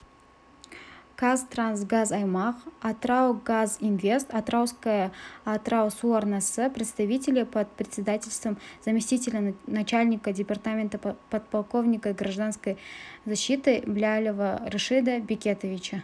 казтрансгазаймақ атыраугазинвест атырауская атыраусуарнасы представителей под председательством заместителя начальника департамента подполковника гражданской защитыблялова рашида бекетовича